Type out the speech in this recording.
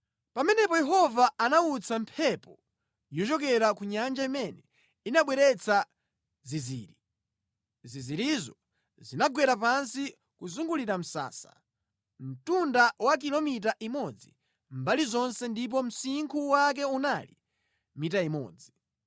Pamenepo Yehova anawutsa mphepo yochokera ku nyanja imene inabweretsa zinziri. Zinzirizo zinagwera pansi kuzungulira msasa, mtunda wa kilomita imodzi mbali zonse ndipo msinkhu wake unali mita imodzi.